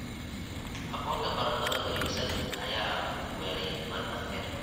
Aboorka baradhada wareegsan ayaa weeraray baradhada beerta